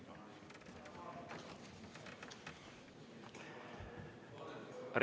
Aitäh!